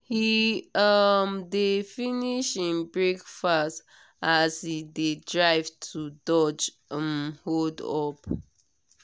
he um dey finish him breakfast as he dey drive to dodge um hold-up.